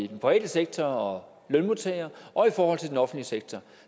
den private sektor og lønmodtagere og i forhold til den offentlige sektor